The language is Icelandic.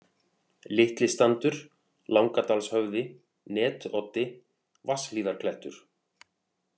Litli-Standur, Langadalshöfði, Netoddi, Vatnshlíðaklettur